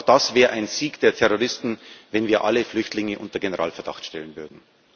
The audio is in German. Auch das wäre ein Sieg der Terroristen, wenn wir alle Flüchtlinge unter Generalverdacht stellen würden.